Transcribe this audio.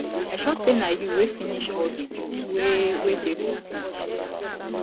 i sure say na you wey finish all the juice wey wey dey for fridge